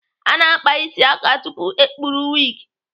A na-akpa isi aka tupu ekpuru wigi.